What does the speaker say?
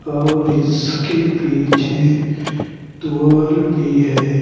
और इसके पीछे दुआर भी है।